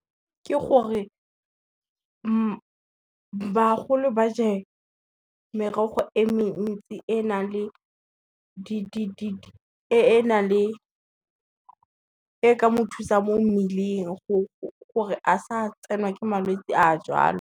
Ke gore, bagolo ba je merogo e mentsi e ka mothusa mo mmeleng gore a sa tsenwa ke malwetsi a jalo.